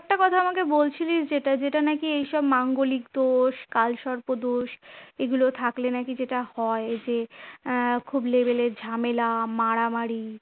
কথা আমাকে বলছিলিস যেটা যেটা নাকি এইসব মাঙ্গলিক দোষ, কালসর্প দোষ, এগুলো থাকলে নাকি যেটা হয় যে আহ খুব level এর ঝামেলা মারামারি